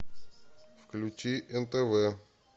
включи нтв